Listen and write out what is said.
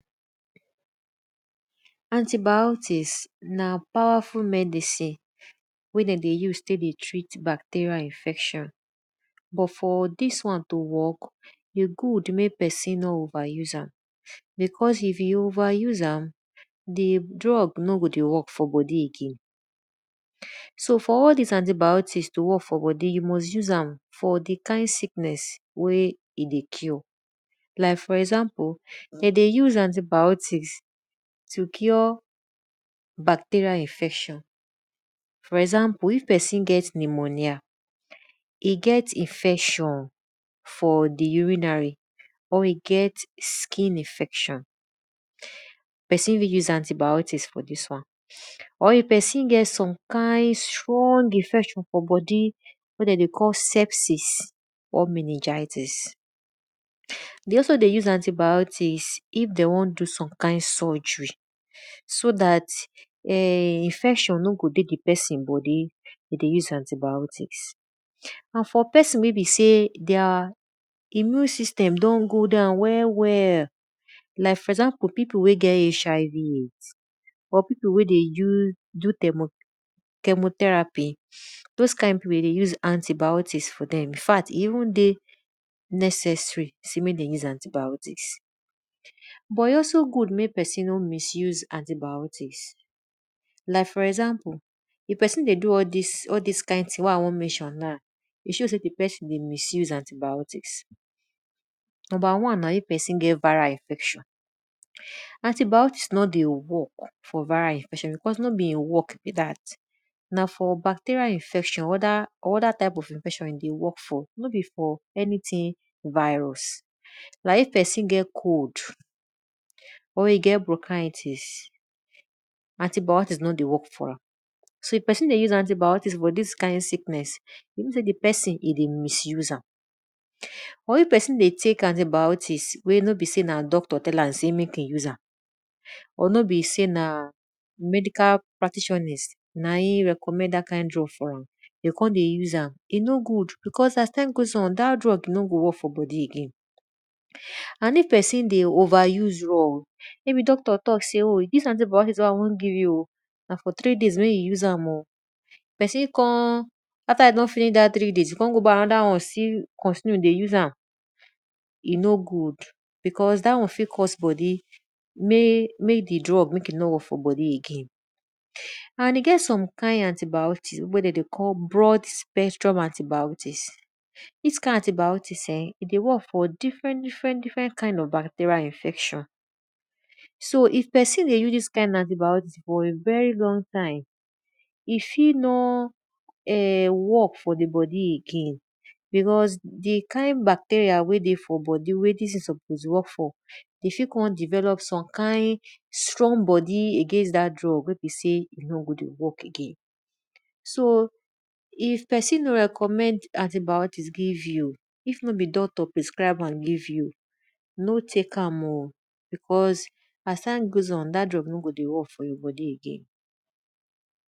Anti- biotics na powerful medicine wey de dey us tek dey treat malerial infection but for dis won to work, e good mek pesin no overuse am. Because if you over u s e am, di drug no go dey work for bodi again. So for all dis anti- biotics to work forbodi, you must use am for all di kind sickness e dey cure. Like for example de dey use anti- biotics to cure backterial infection for example if pesin get pneumonia, e get infection for di u rinary or e get skin infection, Pesin wey use anti- biotics for dis wan. or pesin get some kind strong infection for bodi wey de dey call sexes or minigietics. De also dey use anti- biotics if de won do some kind surgery so dat infection no go dey di pesin bodi e dey use anti- biotics. And for pesin wey be sey their immune system don go down well well, like for example pipiu wey get HIV /AIDS but pipu wey dey do ch emotherapy those kind pipu de dey use anti- biotics for dem infact e even dey neccessar sey mek dem use anti- biotics. But e also good mek pesin misuse anti- biotics. Like for example if pesin dey do this thing wey I won mention now, e show say di pesin dey misuse anti- biotics. nu mber one na if pesin get viral infection: antibiotic no dey work for viral infection becaue no be e work be dat na for bacterial infection or other types of infection no be for anything virus. na if pesin get cold or e get brokaities, antibiotics no dey work for am. so If pesin dey u se antibiotics for dia kind sickness, e mean sey di pesin e dey misuse am but if pesin dey tek anti bioti cs wey no be sey na doctor tell am sey mek e use am, or no be sey na medical practitionis t recommend dat kind drug for am e kon dey use am e no good because as time goes on dat drug no go work for bodi again. And if pesin dey over use drug maybe d octor talk sey dis antibiotics wey I won give you o na for three day may you use am o. pesin kon after you don finish dat three days you ko go b uy anoda won still continue dey use am, e no good because dat won fit cause b oni mey di drug mek e no work for bodi again. And e gt some kind antibiotics wey de call broadpaintruble antibiotics.dis kind of anti boitics[um]e dey work for different different kind bacterial infection. So if pesin dey use dis kind antibiotic for a very long time, e fit nor work for di bodi again because di kind bacterial wey dey for bodi wey di drug for dey work for, e fit kon develop str ong bodi against dat drug wey be sey e no go dey work for di bodi again. If pesin no recommend anti- biotics give you, if no be doctor pres cribe am give you, no tek am o because as time goes on, dat drug no go dey work for your bodi again.